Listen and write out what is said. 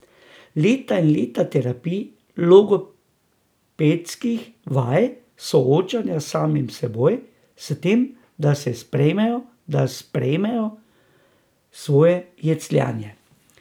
Leta in leta terapij, logopedskih vaj, soočanja s samim seboj, s tem, da se sprejmejo, da sprejmejo svoje jecljanje.